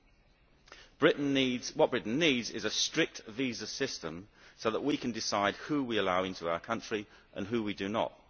What Britain needs is a strict visa system so that we can decide who we allow into our country and who we do not.